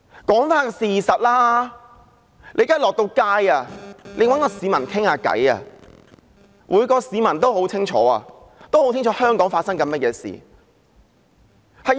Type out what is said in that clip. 說回事實，現時到街上找市民談談，每名市民也很清楚香港發生甚麼事。